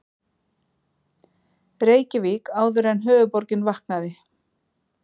Reykjavík áður en höfuðborgin vaknaði.